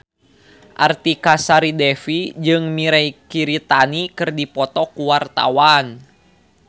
Artika Sari Devi jeung Mirei Kiritani keur dipoto ku wartawan